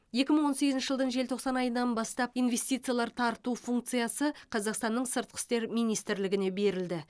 екі мың он сегізінші жылдың желтоқсан айынан бастап инвестициялар тарту функциясы қазақстанның сыртқы істер министрлігіне берілді